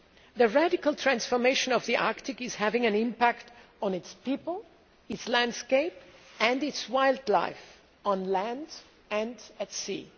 The radical transformation of the Arctic is having an impact on its people, its landscape and its wildlife on land and at sea.